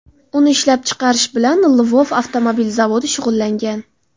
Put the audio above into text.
Uni ishlab chiqarish bilan Lvov avtomobil zavodi shug‘ullangan.